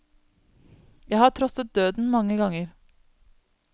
Jeg har trosset døden mange ganger.